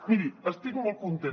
miri estic molt contenta